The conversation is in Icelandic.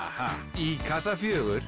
í kassa fjórum